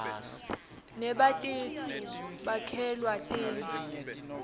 nebatitfu bakhelua tinbzu